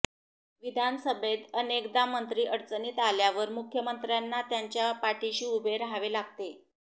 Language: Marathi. विधानसभेत अनेकदा मंत्री अडचणीत आल्यावर मुख्यमंत्र्यांना त्यांच्या पाठीशी उभे रहावे लागते